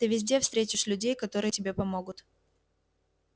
ты везде встретишь людей которые тебе помогут